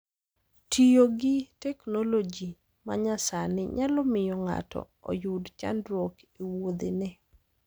Tiyo gi teknoloji ma nyasani nyalo miyo ng'ato oyud chandruok e wuodhene.